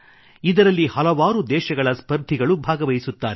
ಇದರಲ್ಲಿ ಹಲವಾರು ದೇಶಗಳ ಸ್ಪರ್ಧಿಗಳು ಭಾಗವಹಿಸುತ್ತಾರೆ